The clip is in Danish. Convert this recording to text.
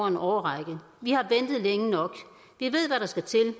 en årrække vi har ventet længe nok vi ved hvad der skal til